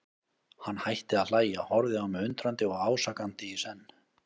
Hann hætti að hlæja, horfði á mig undrandi og ásakandi í senn.